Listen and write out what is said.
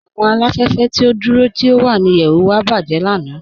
Awọn aláfẹ̀fẹ̀ ti o dúró tí o wà ní ìyẹ̀wù wa bajẹ̀ lànà.